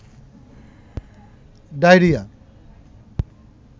diarrhoea